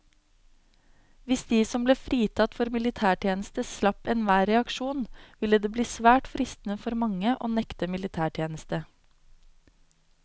Hvis de som ble fritatt for militærtjeneste slapp enhver reaksjon, ville det bli svært fristende for mange å nekte militætjeneste.